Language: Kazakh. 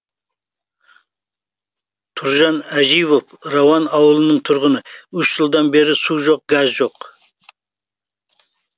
тұржан әживов рауан ауылының тұрғыны үш жылдан бері су жоқ газ жоқ